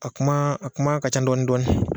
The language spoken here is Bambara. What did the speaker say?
A kuma a kuma ka ca dɔɔni dɔɔni.